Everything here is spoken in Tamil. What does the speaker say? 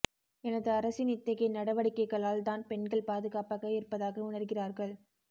எனது அரசின் இத்தகைய நடவடிக்கைகளால் தான் பெண்கள் பாதுகாப்பாக இருப்பதாக உணர்கிறார்கள்